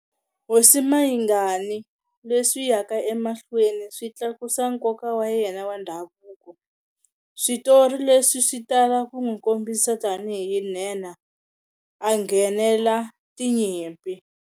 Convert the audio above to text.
Hosi Mayingani, leswi yaka emahlweni swi tlakusa nkoka wa yena wa ndhavuko. Switori leswi swi tala ku n'wi kombisa tanihi nhenha, a nghenela tinyimpi.